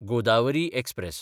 Godavari express